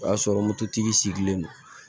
O y'a sɔrɔ mototigi sigilen don